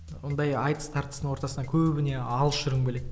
ондай айтыс тартыстың ортасынан көбіне алыс жүргім келеді